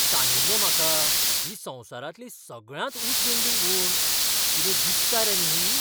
सांगिल्लें म्हाका ही संवसारांतली सगळ्यांत उंच बिल्डिंग म्हूण. कितें दिसता रे न्ही ही.